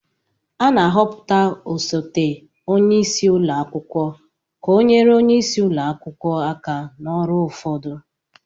A na-ahọpụta osote onye isi ụlọ akwụkwọ ka ọ nyere onye isi ụlọ akwụkwọ aka na ọrụ ụfọdụ